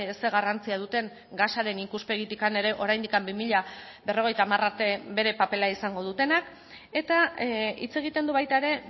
zer garrantzia duten gasaren ikuspegitik ere oraindik bi mila berrogeita hamar arte bere papera izango dutenak eta hitz egiten du baita ere